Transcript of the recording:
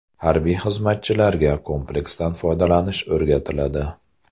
Harbiy xizmatchilarga kompleksdan foydalanish o‘rgatiladi.